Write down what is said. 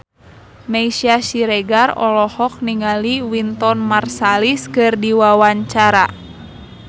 Meisya Siregar olohok ningali Wynton Marsalis keur diwawancara